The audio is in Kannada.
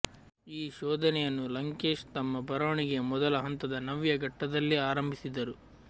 ಈ ಶೋಧನೆಯನ್ನು ಲಂಕೇಶ್ ತಮ್ಮ ಬರವಣಿಗೆಯ ಮೊದಲ ಹಂತದ ನವ್ಯ ಘಟ್ಟದಲ್ಲೇ ಆರಂಭಿಸಿದರು